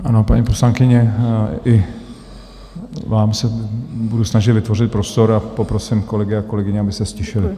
Ano, paní poslankyně, i vám se budu snažit vytvořit prostor a poprosím kolegy a kolegyně, aby se ztišili.